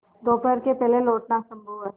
दोपहर के पहले लौटना असंभव है